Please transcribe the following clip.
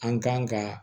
An kan ka